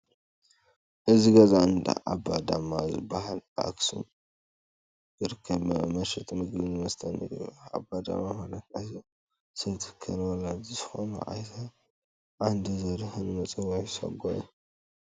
እዚ ገዛ እንዳ ኣባ ዳማ ዝበሃል ኣብ ኣኽሱም ዝርከብ መሸጢ ምግብን መስተንእዩ፡፡ ኣባ ዳማ ማለት ናይዞም ሰብ ትካል ወላዲ ናይ ዝኾኑ ኣይተ ዓንዱ ዘሪሁን መፀውዒ ሳጓ እዩ፡፡